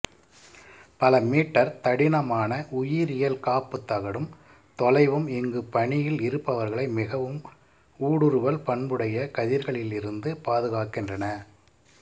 பல மீட்டர் தடிமனான உயிரியல் காப்புத் தகடும் தொலைவும் இங்கு பணியில் இருப்பவர்களை மிகவும் ஊடுருவல் பண்புடைய கதிர்களிலிருந்து பாதுகாக்கின்றன